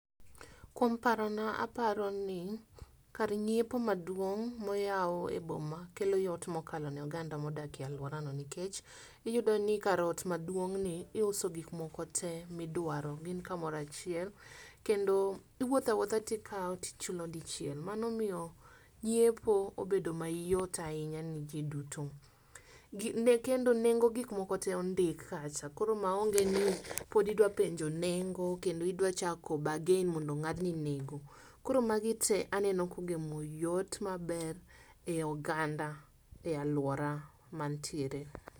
Kuom parono aparo ni kar nyiepo maduong' moyaw e boma kelo yot modak e aluara no nikech, iyudo ni kar ot maduong ni iuso gik moko tee midwaro. Gin kamora chiel kendo iwuotha wuotha nikao tichulo dichiel . Mano miyo nyiepo obedo mayot ahinya ne jii duto kendo, nengo mag gik moko tee ondik kacha koro maonge ni pod idwa penjo ni nengo kendo idwa chako ]bargain mondo ong'adni nengo. Koro magi te aneno kogemo yot maber e oganda e aluora mantiere.